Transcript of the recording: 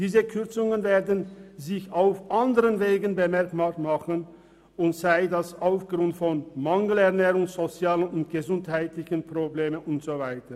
Diese Kürzungen werden sich auf anderen Wegen bemerkbar machen, sei es durch Mangelernährung, sei es durch soziale und gesundheitliche Probleme usw.